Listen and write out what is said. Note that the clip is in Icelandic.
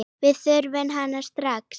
Við þurfum hana strax.